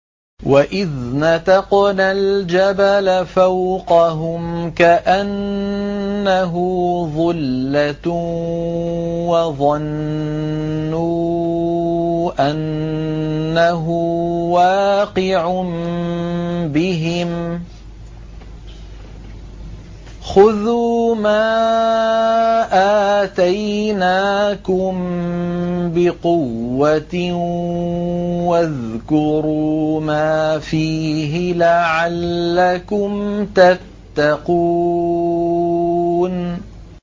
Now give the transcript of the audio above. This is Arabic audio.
۞ وَإِذْ نَتَقْنَا الْجَبَلَ فَوْقَهُمْ كَأَنَّهُ ظُلَّةٌ وَظَنُّوا أَنَّهُ وَاقِعٌ بِهِمْ خُذُوا مَا آتَيْنَاكُم بِقُوَّةٍ وَاذْكُرُوا مَا فِيهِ لَعَلَّكُمْ تَتَّقُونَ